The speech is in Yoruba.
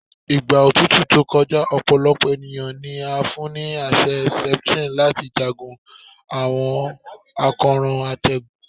Igba otutu to kọja, ọpọlọpọ eniyan ni a fun ni aṣẹ Septrin lati jagun awọn akoran atẹgun